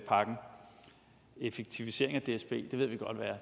effektivisering af dsb